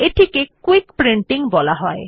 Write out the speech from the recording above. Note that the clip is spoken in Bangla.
এটিকে কুইক প্রিন্টিং বলা হয়